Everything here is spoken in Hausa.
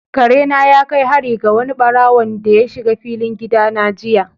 Kare na ya kai hari ga wani ɓarawonda ya shiga filin gida na jiya.